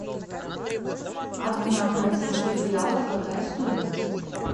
одна бразильских реалов какая стоимость